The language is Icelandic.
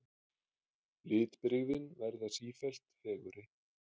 Litbrigðin verða sífellt fegurri.